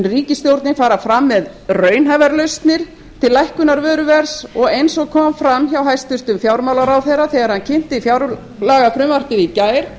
ríkisstjórnin fara fram með raunhæfar lausnir til lækkunar vöruverðs og eins og kom fram hjá hæstvirtum fjármálaráðherra þegar hann kynnti fjárlagafrumvarpið í gær